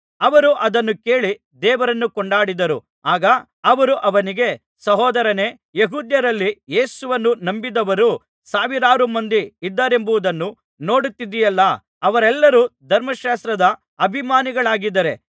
ಅವರು ಅದನ್ನು ಕೇಳಿ ದೇವರನ್ನು ಕೊಂಡಾಡಿದರು ಆಗ ಅವರು ಅವನಿಗೆ ಸಹೋದರನೇ ಯೆಹೂದ್ಯರಲ್ಲಿ ಯೇಸುವನ್ನು ನಂಬಿರುವವರು ಸಾವಿರಾರು ಮಂದಿ ಇದ್ದಾರೆಂಬುದನ್ನು ನೋಡುತ್ತಿದ್ದೀಯಲ್ಲಾ ಅವರೆಲ್ಲರೂ ಧರ್ಮಶಾಸ್ತ್ರದ ಅಭಿಮಾನಿಗಳಾಗಿದ್ದಾರೆ